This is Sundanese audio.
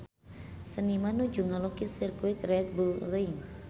Seniman nuju ngalukis Sirkuit Red Bull Ring